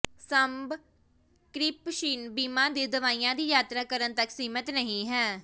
subscription ਬੀਮਾ ਦੇ ਦਾਅਵਿਆਂ ਦੀ ਯਾਤਰਾ ਕਰਨ ਤੱਕ ਸੀਮਤ ਨਹੀਂ ਹੈ